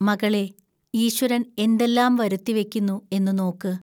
മകളേ, ഈശ്വരൻ എന്തെല്ലാം വരുത്തിവയ്ക്കുന്നു എന്നു നോക്ക്